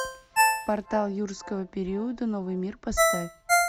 портал юрского периода новый мир поставь